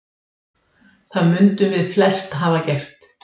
Það mundum við flest hafa gert.